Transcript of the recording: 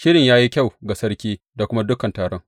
Shirin ya yi kyau ga sarki da kuma dukan taron.